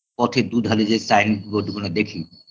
পথের দুধারে যে sign-board -গুনো দেখি